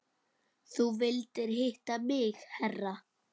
Þú vildir hitta mig herra?